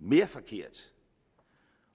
mere forkert